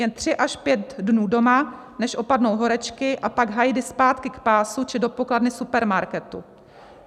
Jen tři až pět dnů doma, než opadnou horečky, a pak hajdy zpátky k pásu či do pokladny supermarketu.